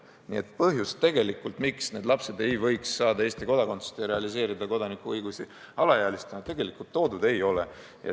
Nii et põhjust, miks need lapsed ei võiks saada Eesti kodakondsust ja realiseerida kodanikuõigusi alaealistena, tegelikult toodud ei ole.